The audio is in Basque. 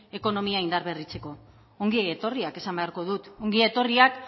ekonomia indarberritzeko ongi etorriak esan beharko dut ongi etorriak